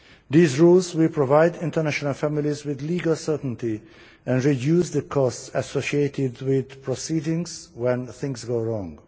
These rules will provide international families with legal certainty and will reduce the costs associated with proceedings when things go wrong.